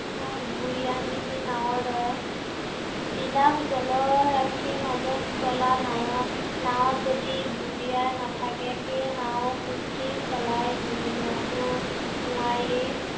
উম গুৰিয়াল বিহীন নাঁৱৰ দৰে। বিলাস জলৰাশিৰ মাজত চলা নাঁও, নাঁৱত যদি গুৰিয়াল নাথাকে সেই নাওঁ সুস্থিৰ চলাই নিয়াটো নোৱাৰিয়েই